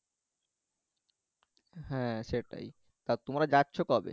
হ্যা সেটাই তা তোমরা যাচ্ছো কবে?